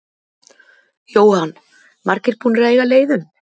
Jóhann: Margir búnir að eiga leið um?